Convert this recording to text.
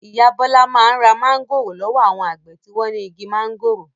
Ìyá Bọ́lá máa ń ra mángòrò lọ́wọ́ àwọn àgbẹ̀ tí wọ́n ní igi máńgòrò.